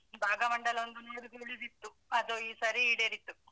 ಭಾಗಮಂಡಲ ಒಂದು ನೋಡುದು ಉಳಿದಿತ್ತು, ಅದು ಈ ಸರಿ ಈಡೇರಿತು.